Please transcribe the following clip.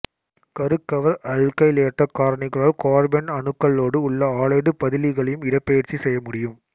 கருக்கவர் அல்கைலேற்றக் காரணிகளால் கார்பன் அணுக்களோடு உள்ள ஆலைடு பதிலிகளையும் இடப்பெயர்ச்சி செய்ய முடியும்